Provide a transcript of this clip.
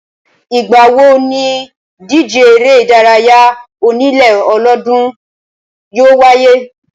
Ìgbà wo níìdíje eré ìdárayá onílé ọlọ́dọọ́dún yóò wáyé?